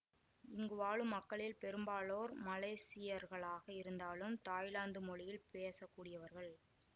இங்கு வாழும் மக்களில் பெரும்பாலோர் மலேசியர்களாக இருந்தாலும் தாய்லாந்து மொழியில் பேசக் கூடியவர்கள்